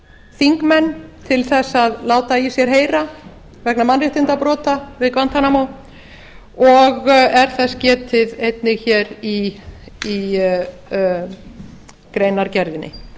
þingmenn til þess að láta í sér heyra vegna mannréttindabrota við guantanamo og er þess getið einnig hér í greinargerðinni